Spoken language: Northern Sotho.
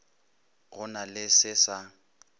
go na le se sa